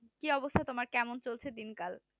কি অবস্থা তোমার, কেমন চলছে দিন কাল?